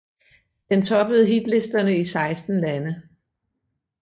Det toppede hitlisterne i 16 lande